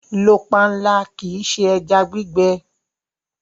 Lọ pànla, kí ì ṣé ẹ̀já gbìgbẹ!